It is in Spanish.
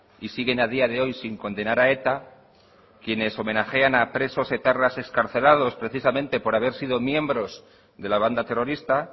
y siguen a día de hoy sin condenar a eta quienes homenajean a presos etarras excarcelados precisamente por haber sido miembros de la banda terrorista